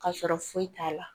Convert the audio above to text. Ka sɔrɔ foyi t'a la